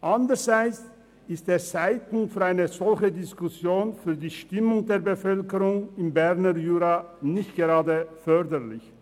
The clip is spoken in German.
Andererseits ist der Zeitpunkt für eine solche Diskussion für die Stimmung der Bevölkerung im Berner Jura nicht gerade förderlich.